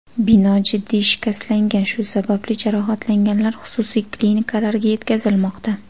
Bino jiddiy shikastlangan, shu sababli jarohatlanganlar xususiy klinikalarga yetkazilmoqda.